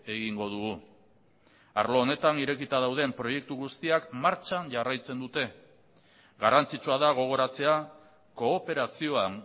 egingo dugu arlo honetan irekita dauden proiektu guztiak martxan jarraitzen dute garrantzitsua da gogoratzea kooperazioan